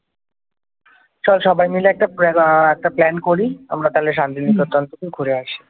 চল সবাই মিলে একটা প্রে আহ প্ল্যান করি আমরা তাহলে শান্তি নিকেতন থেকে ঘুরে আসি